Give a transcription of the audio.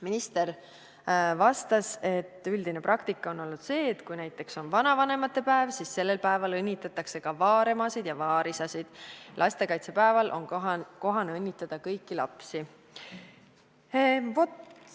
Minister vastas, et üldine praktika on olnud see, et kui näiteks on vanavanemate päev, siis sellel päeval õnnitletakse ka vaaremasid ja vaarisasid, lastekaitsepäeval on kohane õnnitleda kõiki lapsi.